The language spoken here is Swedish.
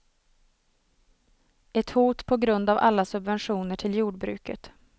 Ett hot på grund av alla subventioner till jordbruket.